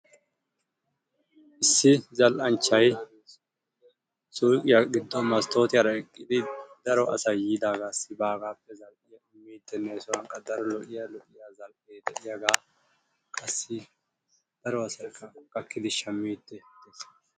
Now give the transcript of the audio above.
Issi zal'anchchaay suuqqiya giddon masttoottiyara eqqidi daro asay yiidaagaassi baagaappe..